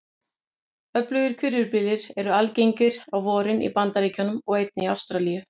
Öflugir hvirfilbyljir eru algengir á vorin í Bandaríkjunum og einnig í Ástralíu.